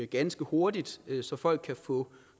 ganske hurtigt så folk kan få